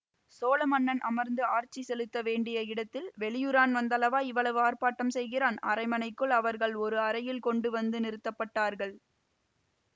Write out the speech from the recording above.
சோழ மன்னன் அமர்ந்து ஆட்சி செலுத்த வேண்டிய இடத்தில் வெளியூரான் வந்தல்லவா இவ்வளவு ஆர்ப்பாட்டம் செய்கிறான் அரண்மனைக்குள் அவர்கள் ஒரு அறையில் கொண்டு வந்து நிறுத்தப்பட்டார்கள்